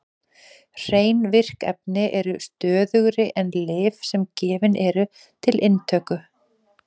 Hrein virk efni eru stöðugri en lyf sem gefin eru til inntöku.